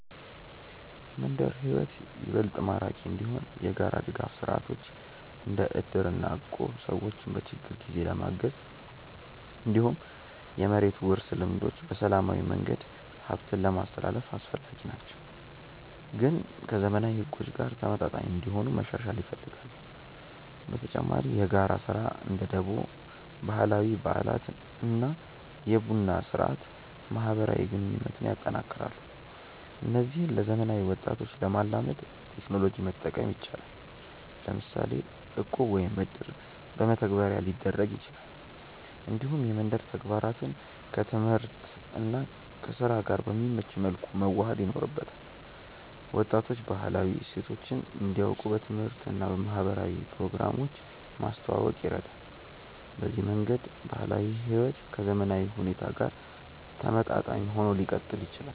የመንደር ሕይወት ይበልጥ ማራኪ እንዲሆን የጋራ ድጋፍ ስርዓቶች እንደ እድር እና እቁብ ሰዎችን በችግር ጊዜ ለማገዝ፣ እንዲሁም የመሬት ውርስ ልምዶች በሰላማዊ መንገድ ሀብትን ለማስትላልፍ አስፈላጊ ናቸው፣ ግን ከዘመናዊ ሕጎች ጋር ተመጣጣኝ እንዲሆኑ መሻሻል ይፈልጋሉ። በተጨማሪ የጋራ ስራ (እንደ ደቦ)፣ ባህላዊ በዓላት እና የቡና ስርአት ማህበራዊ ግንኙነትን ያጠናክራሉ። እነዚህን ለዘመናዊ ወጣቶች ለማላመድ ቴክኖሎጂ መጠቀም ይቻላል፤ ለምሳሌ እቁብ ወይም እድር በመተግበሪያ ሊደረግ ይችላል። እንዲሁም የመንደር ተግባራትን ከትምህርት እና ከስራ ጋር በሚመች መልኩ መዋሃድ ይኖርበታል። ወጣቶች ባህላዊ እሴቶችን እንዲያውቁ በትምህርት እና በማህበራዊ ፕሮግራሞች ማስተዋወቅ ይረዳል። በዚህ መንገድ ባህላዊ ሕይወት ከዘመናዊ ሁኔታ ጋር ተመጣጣኝ ሆኖ ሊቀጥል ይችላል።